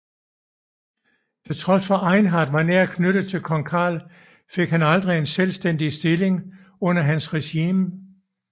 Til trods for at Einhard var nært knyttet til kong Karl fik han aldrig en selvstændig stilling under hans regime